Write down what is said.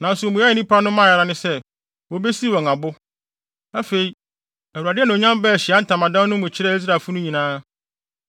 Nanso mmuae a nnipa no mae ara ne sɛ, wobesiw wɔn abo. Afei, Awurade anuonyam baa Ahyiae Ntamadan no mu kyerɛɛ Israelfo no nyinaa.